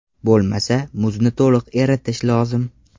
Bo‘lmasa, muzni to‘liq eritish lozim!